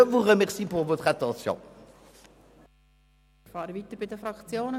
Ich fahre weiter mit den Fraktionen.